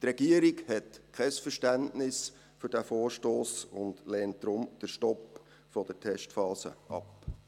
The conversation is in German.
Die Regierung hat kein Verständnis für diesen Vorstoss und lehnt deshalb den Stopp der Testphase ab.